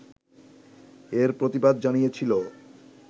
এর প্রতিবাদ জানিয়েছিল